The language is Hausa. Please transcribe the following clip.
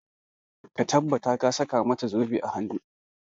Ka tabbata ka saka mata zobe a hanu!